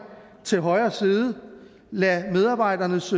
til højre side lad medarbejdernes